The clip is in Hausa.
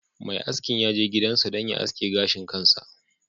Mai askin ya je gidansa don ya aske gashin kansa